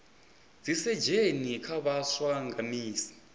dzisesheni kha vhaswa nga misi